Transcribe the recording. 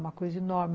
Uma coisa enorme.